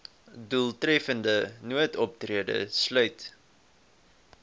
doeltreffende noodoptrede sluit